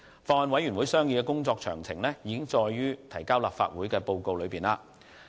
法案委員會商議的工作詳情已載於提交立法會的報告。